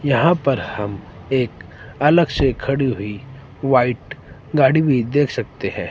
यहां पर हम एक अलग से खड़ी हुई वाइट गाड़ी भी देख सकते है।